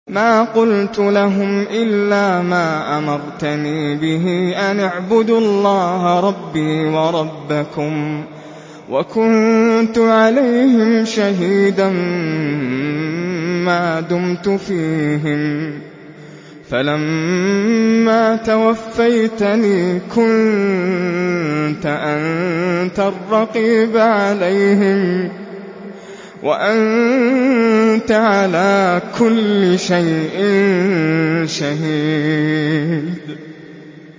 مَا قُلْتُ لَهُمْ إِلَّا مَا أَمَرْتَنِي بِهِ أَنِ اعْبُدُوا اللَّهَ رَبِّي وَرَبَّكُمْ ۚ وَكُنتُ عَلَيْهِمْ شَهِيدًا مَّا دُمْتُ فِيهِمْ ۖ فَلَمَّا تَوَفَّيْتَنِي كُنتَ أَنتَ الرَّقِيبَ عَلَيْهِمْ ۚ وَأَنتَ عَلَىٰ كُلِّ شَيْءٍ شَهِيدٌ